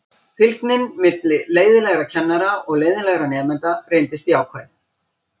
Fylgnin milli leiðinlegra kennara og leiðinlegra nemenda reyndist jákvæð.